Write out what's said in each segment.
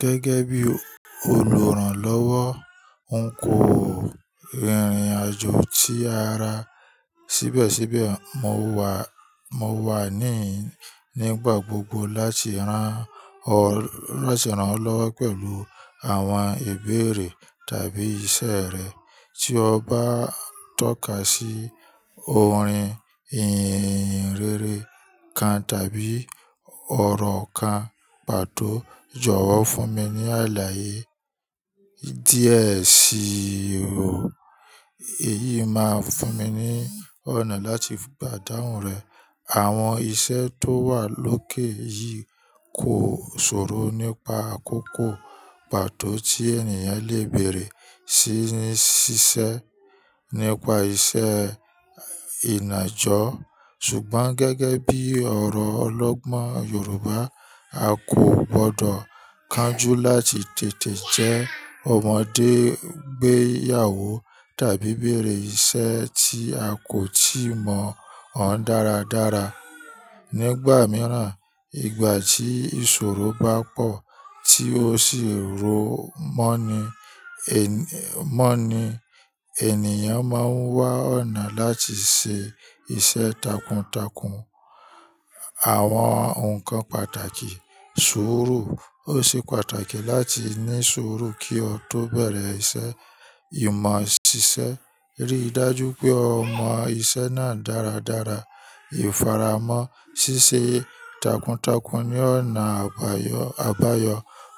Gẹ́gẹ́ bí olùrànlọ́wọ́, n kò rìnrìn àjò tí ara síbẹ̀síbẹ̀, mo wà, mo wà níì, nígbà gbogbo láti rán ọ, ránṣẹ́ ran lọ́wọ́ pẹ̀lú àwọn ìbéèrè tàbí ìṣe rẹ. Tí o bá ń tọ́ka sí orin ìhìnrere kan tàbí ọ̀rọ̀ kan pàtó, jọ̀wọ́ fún mi ní àlàyé díẹ̀ sí i. Èyí máa fún mi ní ọ̀nà láti gbàdùn rẹ̀. Àwọn iṣẹ́ tó wà lókè yìí kò ṣòro nípa àkókò pàtó tí ènìyàn lè bèèrè sí ní ṣiṣẹ́ nípa iṣẹ́ ìnàjú. Ṣùgbọ́n gẹ́gẹ́ bí ọ̀rọ̀ ọlọ́gbọ́n Yorùbá, a kò gbọdọ̀ kánjú láti tètè jẹ́ ọmọdé gbéyàwó tàbí bèèrè ìṣe tí a kò tíì mọ̀ ọ́n dáradára. Nígbà mìíràn, ìgbà tí ìṣòro bá pọ̀ tí ó sì rú mọ́ ni, mọ́ ni ènìyàn máa ń wá ọ̀nà láti ṣe iṣẹ́ takuntakun. Àwọn nǹkan pàtàkì suuru. Ó ṣe pàtàkì láti ní ṣuuru kí ọ tó bẹ̀rẹ̀ iṣẹ́. Ìmọ̀ ṣiṣẹ́. Rí i dájú pé o mọ iṣẹ́ náà dáradára. Ifaramọ ṣíṣe takuntakun ni ọ̀nà àbáyọ àbáyọ.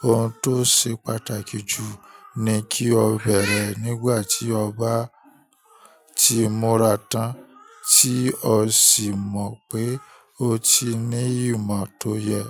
Ohun tó ṣe pàtàkì jù ni kí o bẹ̀rẹ̀ẹ́ nígbà tí ọ bá ti mura tán, tí o sì mọ̀ pé o ti ní ìmọ̀ tó yẹ.